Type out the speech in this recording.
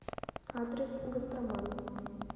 адрес гастроман